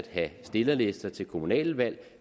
have stillerlister til kommunale valg